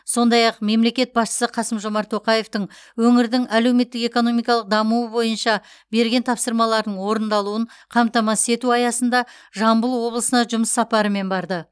сондай ақ мемлекет басшысы қасым жомарт тоқаевтың өңірдің әлеуметтік экономикалық дамуы бойынша берген тапсырмаларының орындалуын қамтамасыз ету аясында жамбыл облысына жұмыс сапарымен барды